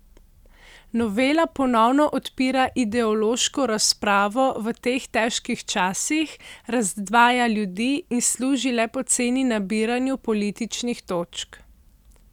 Novela ponovno odpira ideološko razpravo v teh težkih časih, razdvaja ljudi in služi le poceni nabiranju političnih točk.